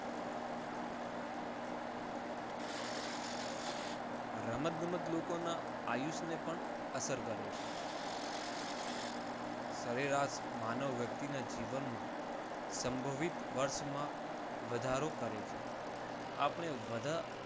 રમત ગમત લોકોના આયુષ્ય ને પણ અસર કરે છે. સરેરાશ માનવ વ્યક્તિના જીવનમાં સંભવિત વર્ષમાં વધારો કરે છે. આપણે બધા